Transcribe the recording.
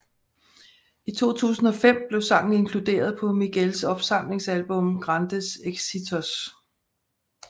I 2005 blev sangen inkluderet på Miguels opsamlingsalbum Grandes Éxitos